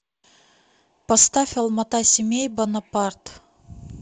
поставь алмата семей бонапарт